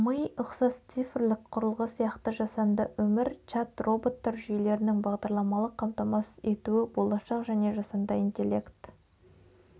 ми ұқсас цифрлік құрылғы сияқты жасанды өмір чат-роботтар жүйелерінің бағдарламалық қамтамасыз етуі болашақ және жасанды интелект